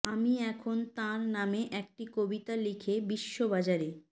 আমি এখন তাঁর নামে একটি কবিতা লিখে বিশ্ব বাজারে